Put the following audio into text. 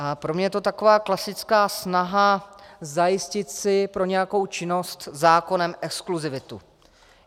A pro mě je to taková klasická snaha zajistit si pro nějakou činnost zákonem exkluzivitu.